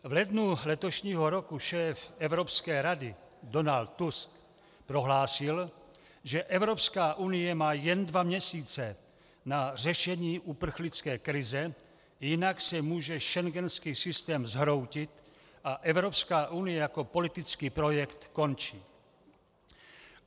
V lednu letošního roku šéf Evropské rady Donald Tusk prohlásil, že Evropská unie má jen dva měsíce na řešení uprchlické krize, jinak se může schengenský systém zhroutit a Evropská unie jako politický projekt skončit.